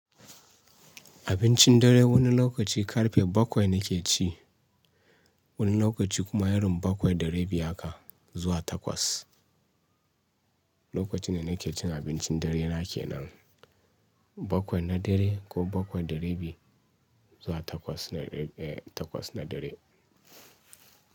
Abincin dare wani lokaci karfe bakwai na ke ci, wani lokaci kuma irin bakwai da rabi haka zuwa takwas. Lokacin da na ke cin abincin dare na kenan, bakwai na dare ko bakwai da rabi zuwa takwas na, eh takwas na dare.